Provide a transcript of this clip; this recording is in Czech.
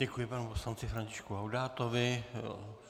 Děkuji panu poslanci Františku Laudátovi.